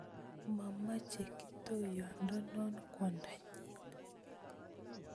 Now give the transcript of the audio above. Momoche kiptoyondonon kwondanyin